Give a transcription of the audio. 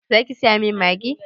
Za ki saya min Maggi?